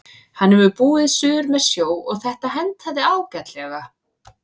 Hann hefur búið suður með sjó og þetta hentaði ágætlega.